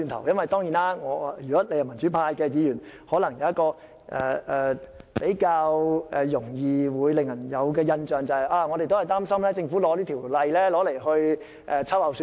如果你是民主派議員，可能比較容易給人的印象是，擔心政府藉此法例秋後算帳。